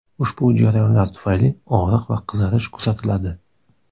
Ushbu jarohatlar tufayli og‘riq va qizarish kuzatiladi.